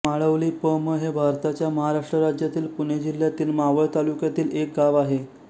माळवली प म हे भारताच्या महाराष्ट्र राज्यातील पुणे जिल्ह्यातील मावळ तालुक्यातील एक गाव आहे